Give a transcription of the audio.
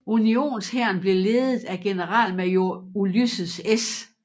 Unionshæren blev ledet af generalmajor Ulysses S